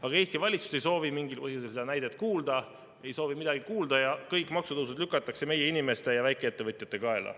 Aga Eesti valitsus ei soovi mingil põhjusel sellest näitest midagi kuulda ja kõik maksutõusud lükatakse meie inimeste ja väikeettevõtjate kaela.